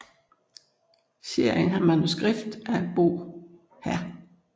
Serien har manuskript af Bo Hr